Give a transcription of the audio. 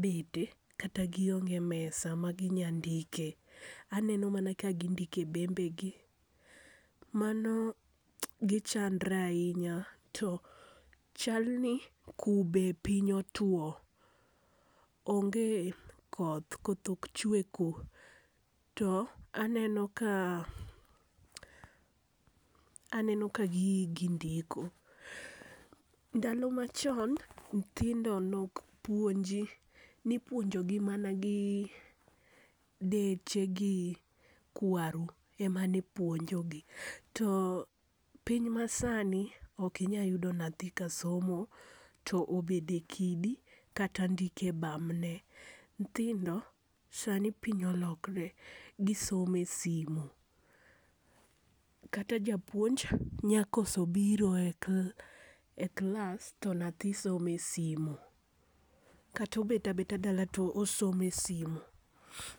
bede kata gi onge mesa ma gi nya ndike. Aneno mana ka gi ndike e bembe gi. Mano gichandre ainya to chal ni kube piny otwo onge koth koth ok chwe ku to aneno ka aneno ka gi hi gi ndiko. Ndalo ma chon nyithindo ne ok puonji ni ipuonjo gi mana gii deche gi kwaru ,emane puonjo gi to piny ma saa ni ok inya yudo nathi ka somo to obet e kidi kata ndiko e bamne. Nyithindo sani piny olokre gi somo e simo kata japuonj nya koso biro e klas e klas to nyathi somo e simo kata obet abeta dala to osomo e simo.